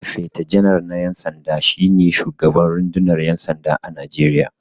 Sifeta janar na 'yan sanda, shi ne shugaban rundunar 'yan sanda a Najeriya.